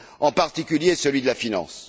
en particulier celui de la finance.